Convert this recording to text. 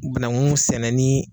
Banangun sɛnɛnin